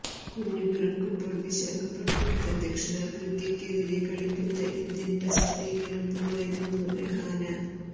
കുഞ്ഞു പിറക്കുമ്പോൾ വിശാഖപട്ടണത്ത് ദക്ഷിണാഫ്രിക്കയ്ക്കെതിരെ കളിക്കുന്ന ഇന്ത്യൻ ടെസ്റ്റ് ടീമിനൊപ്പമായിരുന്നു രഹാനെ